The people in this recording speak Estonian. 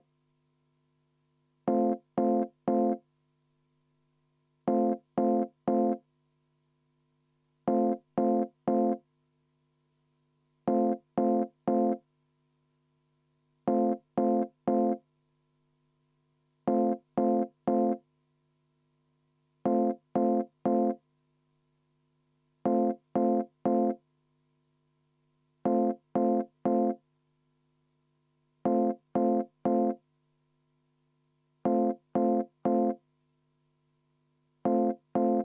Ühtlasi palun võtta kümme minutit vaheaega ja enne hääletamist kontrollida üle, kas ikka kõik meie auväärsed liikmed on kohal, nii et palun ka kohaloleku kontrolli.